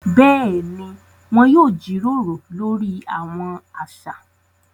Béèni, wọn yóò jíròrò lori awọn aṣa